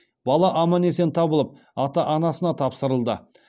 бала аман есен табылып ата анасына тапсырылды